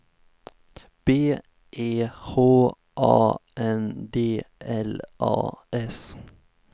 B E H A N D L A S